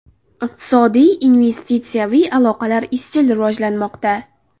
Iqtisodiy, investitsiyaviy aloqalar izchil rivojlanmoqda.